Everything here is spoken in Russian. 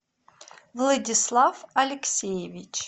владислав алексеевич